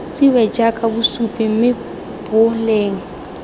tsewe jaaka bosupi mme boleng